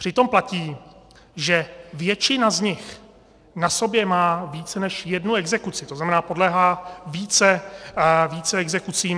Přitom platí, že většina z nich na sobě má více než jednu exekuci, to znamená, podléhá více exekucím.